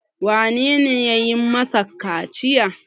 wanene ya yi masa kaciya?